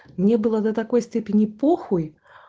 мне было до такой степени похуй